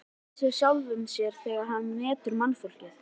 Hann tekur mið af sjálfum sér þegar hann metur mannfólkið.